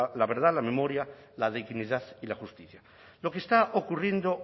la verdad la memoria la dignidad y la justicia lo que está ocurriendo